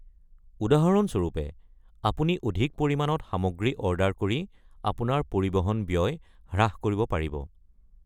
উদাহৰণ স্বৰূপে, আপুনি অধিক পৰিমাণত সামগ্ৰী অৰ্ডাৰ কৰি আপোনাৰ পৰিবহন ব্যয় হ্ৰাস কৰিব পাৰিব।